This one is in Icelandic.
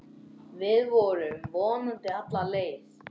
Við förum vonandi alla leið